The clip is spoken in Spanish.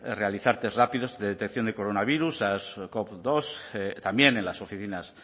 realizar test rápidos de detección de coronavirus sars cov dos también en las oficinas